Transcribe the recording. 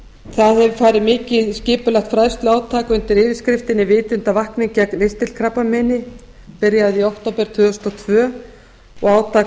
það er hafið mikið skipulagt fræðsluátak undir yfirskriftinni vitundarvakning gegn ristilkrabbameini byrjaði í október tvö þúsund og tvö og átak